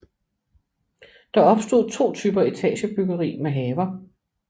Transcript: Der opstod to typer etagebyggeri med haver